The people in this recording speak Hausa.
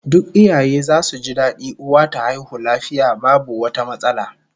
Duk iyaye zasu ji dadi uwa ta haihu lafiya babu wata matsala